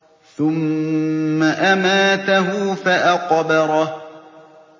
ثُمَّ أَمَاتَهُ فَأَقْبَرَهُ